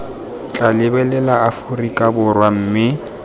tla lebelela aforika borwa mme